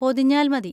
പൊതിഞ്ഞാൽ മതി.